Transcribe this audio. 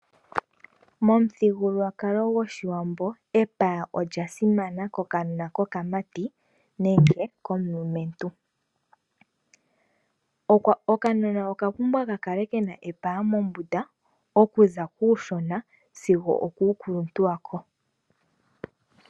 Yomuthigululwakalo gwoshiwambo, epaya olya simana kokanona kokamati, nenge komulumentu. Okanona oka pumbwa ka kale kena epaya mombunda, oku za kuushona sigo okuu kuluntu wako.